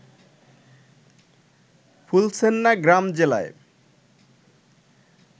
ফুলছেন্না গ্রাম জেলায়